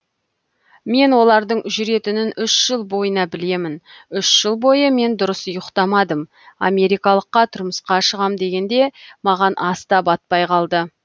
мен олардың жүретінін үш жыл бойына білемін үш жыл бойы мен дұрыс ұйықтамадым америкалыққа тұрмысқа шығам дегенде маған ас та батпай қалды